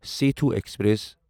Sethu express